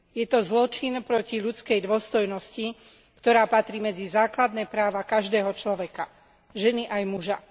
Je to zločin proti ľudskej dôstojnosti, ktorá patrí medzi základné práva každého človeka, ženy aj muža.